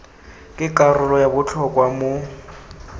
ke karolo ya botlhokwa mo